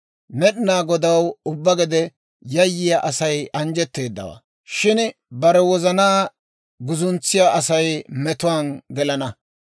Med'inaa Godaw ubbaa gede yayyiyaa Asay anjjetteedawaa; shin bare wozanaa guzuntsiyaa Asay metuwaan gelana.